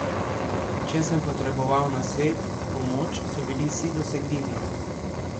Če sem potreboval nasvet, pomoč, so bili vsi dosegljivi.